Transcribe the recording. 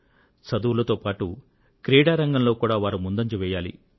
చదువులతో పాటు క్రీడా రంగంలో కూడా వారు ముందంజ వేయాలి